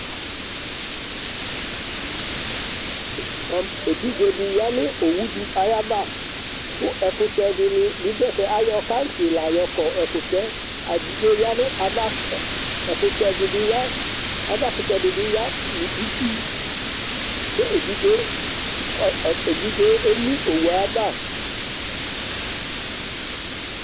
Evidze dɩ ya nʋ owu dɩ ayava kʋ ɛkʋtɛ dɩnɩ bɩ dʋ ɛfɛ kʋ ayɔ kaŋtsɩ la yɔkɔ ɛkʋtɛ yɛ Evidze yɛ ya nʋ ava Ɛkʋtɛ dɩ bɩ ya, avakʋtɛ dɩ bɩ ya nʋ itsu kʋ evidze yɛ, ɔ ɔ evidze yɛ emu owu yɛ ava